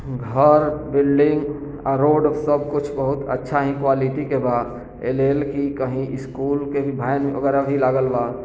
घर बिल्डिंग औ रोड सब कुछ बहुत अच्छा हीं क्वालिटी अच्छा क्वालिटी के बा कहीं स्कूल के वगेरा भी लागल बा।